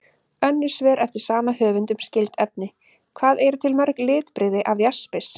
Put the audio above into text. Önnur svör eftir sama höfund um skyld efni: Hvað eru til mörg litbrigði af jaspis?